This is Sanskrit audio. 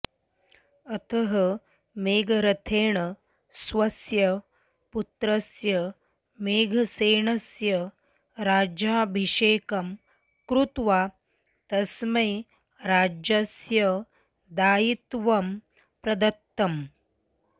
अतः मेघरथेन स्वस्य पुत्रस्य मेघसेनस्य राज्याभिषेकं कृत्वा तस्मै राज्यस्य दायित्वं प्रदत्तम्